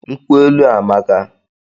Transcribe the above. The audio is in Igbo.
Nkwụ elu a amaka!